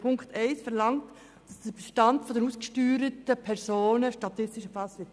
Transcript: Punkt 1 verlangt, dass der Bestand der ausgesteuerten Personen statistisch erfasst wird.